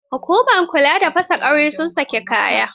Hukumar kula da fasa ƙwauri sun saki kayan?